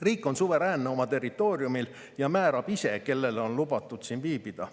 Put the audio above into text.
Riik on suveräänne oma territooriumil ja määrab ise, kellel on lubatud siin viibida.